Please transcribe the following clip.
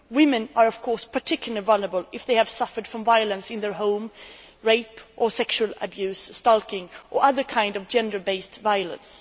Women are, of course, particularly vulnerable if they have suffered violence in their home rape or sexual abuse, stalking or other kinds of gender based violence.